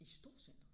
I storcenteret?